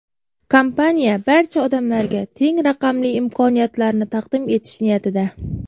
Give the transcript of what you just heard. Kompaniya barcha odamlarga teng raqamli imkoniyatlarni taqdim etish niyatida.